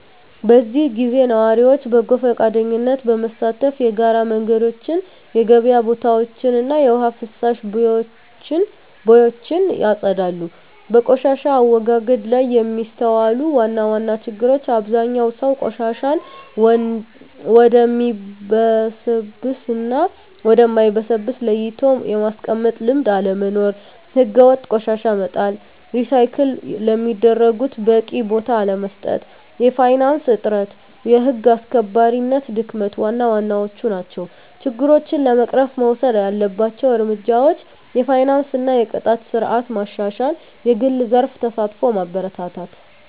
በዚህ ጊዜ ነዋሪዎች በጎ ፈቃደኝነት በመሳተፍ የጋራ መንገዶችን፣ የገበያ ቦታዎችን እና የውሃ ፍሳሽ ቦዮችን ያጸዳሉ። በቆሻሻ አወጋገድ ላይ የሚስተዋሉ ዋና ዋና ችግሮች አብዛኛው ሰው ቆሻሻን ወደሚበሰብስ እና ወደ ማይበሰብስ ለይቶ የማስቀመጥ ልምድ አለመኖር። ሕገወጥ ቆሻሻ መጣል፣ ሪሳይክል ለሚደረጉት በቂ ቦታ አለመስጠት፣ የፋይናንስ እጥረት፣ የህግ አስከባሪነት ድክመት ዋና ዋናዎቹ ናቸው። ችግሮችን ለመቅረፍ መወሰድ ያለባቸው እርምጃዎች የፋይናንስ እና የቅጣት ስርዓት ማሻሻል፣ የግል ዘርፍ ተሳትፎን ማበረታታት፣ …